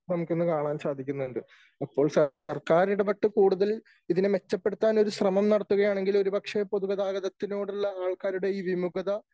നമുക്ക് ഇന്നു കാണാൻ സാധിക്കുന്നുണ്ട് . അപ്പോൾ സർക്കാർ ഇടപെട്ട് കൂടുതൽ ഇതിനെ മെച്ചപ്പെടുത്താൻ ഒരു ശ്രമം നടത്തുകയാണെങ്കിൽ ഒരു പക്ഷേ പൊതുഗതാഗതത്തിനോടുള്ള ആൾക്കാരുടെ ഈ വിമുഖത